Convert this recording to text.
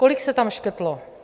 Kolik se tam škrtlo?